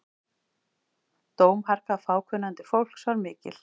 Dómharka fákunnandi fólks var mikil.